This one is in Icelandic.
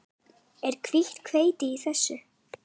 Er hvítt hveiti í þessu?